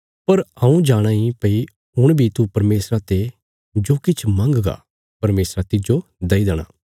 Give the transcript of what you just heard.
पर हऊँ जाणा ईं भई हुण बी तू परमेशरा ते जो किछ मंगगा परमेशरा तिज्जो दई देणा